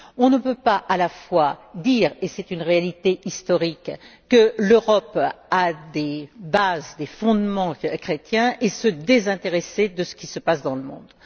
On ne peut pas à la fois dire et c'est une réalité historique que l'Europe a des fondements chrétiens et se désintéresser de ce qui se passe dans le monde.